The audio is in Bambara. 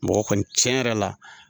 Mɔgɔ kɔni tiɲɛ yɛrɛ la